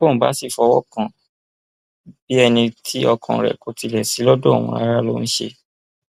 bọun bá sì fọwọ kàn án bíi ẹni tí ọkàn rẹ kò tilẹ sí lọdọ òun rárá ló ń ṣe